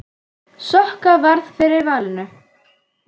Vinna þennan leik fyrir hann!